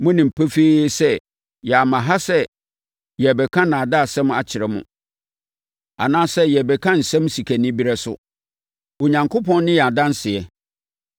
Monim pefee sɛ yɛamma ha sɛ yɛrebɛka nnaadaasɛm akyerɛ mo anaasɛ yɛrebɛka nsɛm sikanibereɛ so. Onyankopɔn ne yɛn adanseɛ.